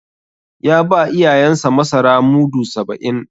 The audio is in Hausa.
Ya ba iyayensa masara mudu saba'in.